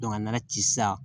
a nana ci sa